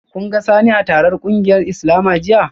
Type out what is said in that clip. Kun ga Sani a taron kungiyar Islama jiya?